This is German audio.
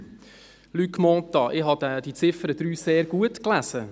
3. Luc Mentha, ich habe die Ziffer 3 sehr gut gelesen.